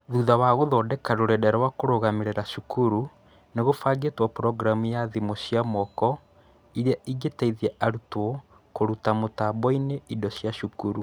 Thutha wa gũthondeka rũrenda rwa kũrũgamĩrĩra cukuru, nĩ gũbangĩtwo programu ya thimũ cia moko ĩrĩa ĩngĩteithia arutwo kũruta mũtambo-inĩ indo cia cukuru.